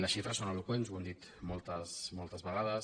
les xifres són eloqüents ho hem dit moltes vegades